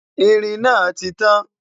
ìrìn nà títàn